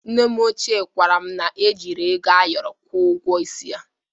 Nne m ochie kwara m na-ejiri ego ayọrọ gwọ ụgwọ isi ya.